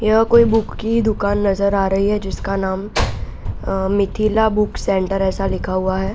यह कोई बुक की दुकान नज़र आ रही है जिसका नाम मिथिला बुक सेंटर ऐसा लिखा हुआ है।